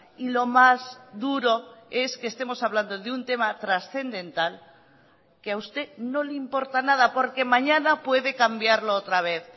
y lo más duro es que estemos hablando de un tema trascendental que a usted no le importa nada porque mañana puede cambiarlo otra vez